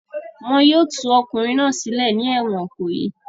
Wọn yóò tú ọkùnrin náà sílẹ̀ ní ẹ̀wọ̀n Ìkòyí!